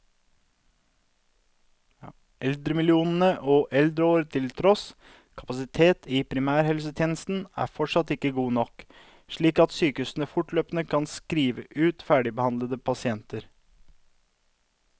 Eldremillioner og eldreår til tross, kapasiteten i primærhelsetjenesten er fortsatt ikke god nok, slik at sykehusene fortløpende kan skrive ut ferdigbehandlede pasienter.